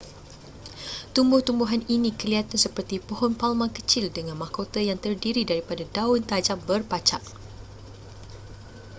tumbuh-tumbuhan ini kelihatan seperti pohon palma kecil dengan mahkota yang terdiri daripada daun tajam berpacak